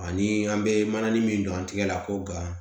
Ani an bɛ mana ni min don an tigɛ la k'o ban